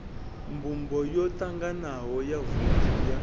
mbumbo yotanganaho ya vouthu ya